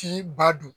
Ci ba do